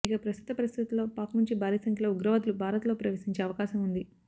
ఇక ప్రస్తుత పరిస్థితుల్లో పాక్ నుంచి భారీ సంఖ్యలో ఉగ్రవాదులు భారత్లో ప్రవేశించే అవకాశం ఉంది